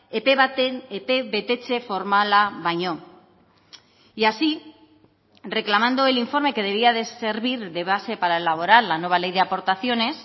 epe baten epe betetze formala baino y así reclamando el informe que debía de servir de base para elaborar la nueva ley de aportaciones